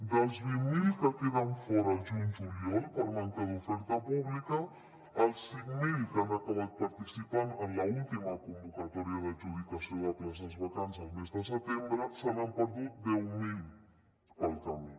dels vint mil que en queden fora al juny juliol per manca d’oferta pública als cinc mil que han acabat participant en l’última convocatòria d’adjudicació de places vacants el mes de setembre se n’han perdut deu mil pel camí